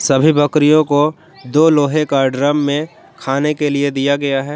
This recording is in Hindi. सभी बकरियों को दो लोहे का ड्रम में खाने के लिए दिया गया है।